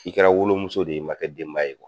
I kɛra wolomuso de ye i man kɛ denba ye.